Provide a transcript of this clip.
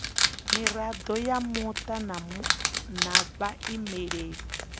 mirado ya muta na vhaimeleli